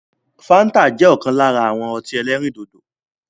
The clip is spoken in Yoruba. Fanta jẹ́ ọ̀kan lára àwọn ọtí ẹlẹ́rìndòdò